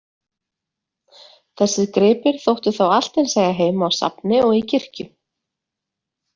Þessir gripir þóttu þá allt eins eiga heima á safni og í kirkju.